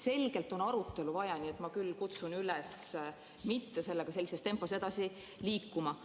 Selgelt on arutelu vaja, nii et ma kutsun üles mitte sellega sellises tempos edasi liikuma.